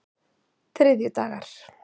þriðjudagar